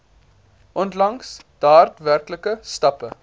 onlangs daadwerklike stappe